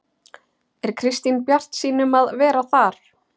Er Kristín bjartsýn um að vera þar?